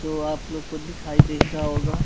जो आप लोग को दिखाई दे ही रहा होगा।